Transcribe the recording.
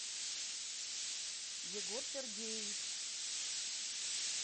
егор сергеевич